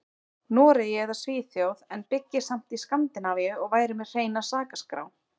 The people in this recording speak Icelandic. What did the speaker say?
Noregi eða Svíþjóð en byggi samt í Skandinavíu og væri með hreina sakaskrá.